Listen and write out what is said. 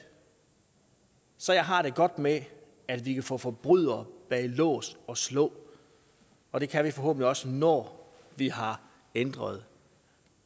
så jeg har det godt med at vi kan få forbrydere bag lås og slå og det kan vi forhåbentlig også når vi har ændret